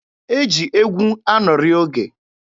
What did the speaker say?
E ji egwu anọrị oge.